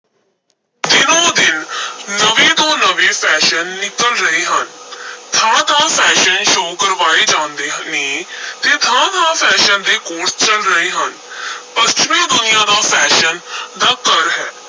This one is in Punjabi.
ਦਿਨੋ-ਦਿਨ ਨਵੇਂ ਤੋਂ ਨਵੇਂ fashion ਨਿਕਲ ਰਹੇ ਹਨ ਥਾਂ-ਥਾਂ fashion show ਕਰਵਾਏ ਜਾਂਦੇ ਨੇ ਤੇ ਥਾਂ ਥਾਂ fashion ਦੇ course ਚੱਲ ਰਹੇ ਹਨ ਪੱਛਮੀ ਦੁਨੀਆਂ ਤਾਂ fashion ਦਾ ਘਰ ਹੈ।